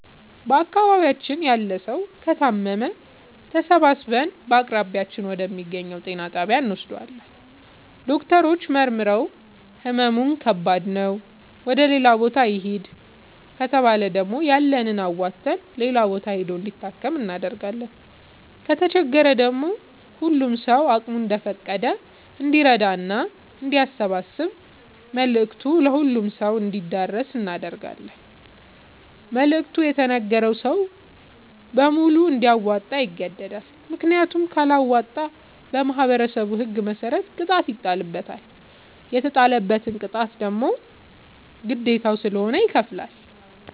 በአካባቢያችን ያለ ሠዉ ከታመመ ተሠባስበን በአቅራቢያችን ወደ ሚገኝ ጤና ጣቢያ እንወስደዋለን። ዶክተሮች መርምረዉ ህመሙ ከባድ ነዉ ወደ ሌላ ቦታ ይህድ ከተባለ ደግሞ ያለንን አዋተን ሌላ ቦታ ሂዶ እንዲታከም እናደርጋለን። ከተቸገረ ደግሞ ሁሉም ሰዉ አቅሙ እንደፈቀደ እንዲራዳና አንዲያሰባስብ መልዕክቱ ለሁሉም ሰው አንዲደርሰው እናደርጋለን። መልዕክቱ የተነገረዉ ሰዉ በሙሉ እንዲያወጣ ይገደዳል። ምክንያቱም ካለወጣ በማህበረሠቡ ህግ መሰረት ቅጣት ይጣልበታል። የተጣለበትን ቅጣት ግዴታዉ ስለሆነ ይከፍላል።